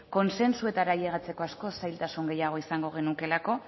kontsentsuetara alegiatzako askoz zailtasun gehiago izango genukeelako